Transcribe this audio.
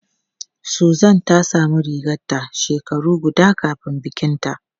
Susan ta samu rigarta shekara guda kafin bikinta.